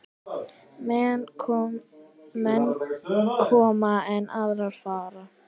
Menn koma, en aðrir fara.